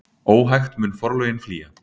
Óhægt mun forlögin flýja.